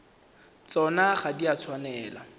tsona ga di a tshwanela